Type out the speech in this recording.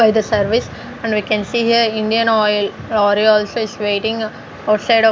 from the service and we can see here Indian oil is waiting outside of --